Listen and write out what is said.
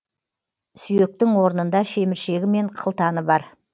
сүйектің орнында шеміршегі мен қылтаны бар